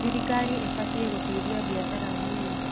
Thirikari ĩbatiĩ gũteithia biashara nini.